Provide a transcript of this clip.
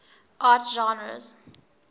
art genres